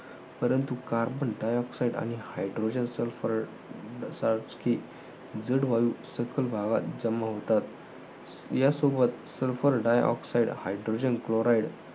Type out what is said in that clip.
परंतु carbon dioxide आणि hydrogen sulfur सारखी जड वायू सखल भागात जमा होतात. यासोबत sulfur dioxide, hydrogen chloride